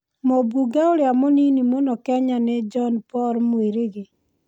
Mũmbunge ũrĩa mũnini mũno Kenya nĩ John Paul Mwirigi.